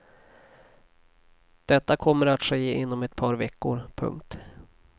Detta kommer att ske inom ett par veckor. punkt